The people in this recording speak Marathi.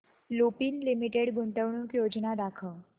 लुपिन लिमिटेड गुंतवणूक योजना दाखव